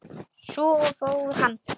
Svo fór hann.